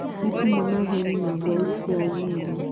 Nĩ kuma na heni na ngwa ũtũkũ wa ũmũthĩ